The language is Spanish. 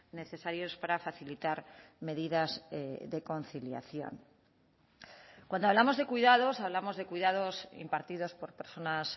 necesarios para facilitar medidas de conciliación cuando hablamos de cuidados hablamos de cuidados impartidos por personas